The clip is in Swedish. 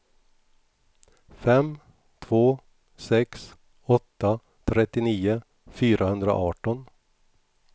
fem två sex åtta trettionio fyrahundraarton